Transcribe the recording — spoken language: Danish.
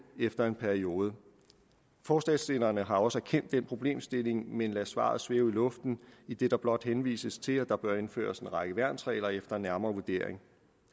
efter en periode forslagsstillerne har også erkendt den problemstilling men lader svaret svæve i luften idet der blot henvises til at der bør indføres en række værnsregler efter nærmere vurdering